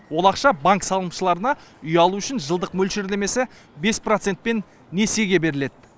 ол ақша банк салымшыларына үй алу үшін жылдық мөлшерлемесі бес процентпен несиеге беріледі